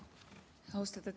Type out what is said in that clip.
Austatud Riigikogu!